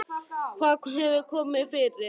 Hvað hefur komið fyrir, hugsaði hún.